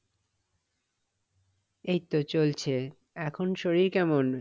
এইতো চলছে এখন শরীর কেমন?